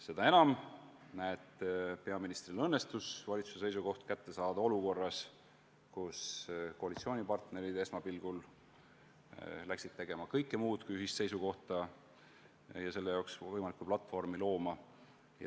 Seda enam, et peaministril õnnestus valitsuse seisukoht kätte saada olukorras, kus koalitsioonipartnerid läksid esmapilgul tegema kõike muud kui ühist seisukohta kujundama ja selle jaoks võimalikku platvormi looma.